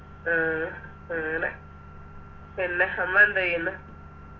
ഉം അങ്ങനെ പിന്നെ അമ്മ എന്തേയ്ന്ന്